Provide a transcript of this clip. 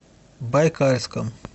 байкальском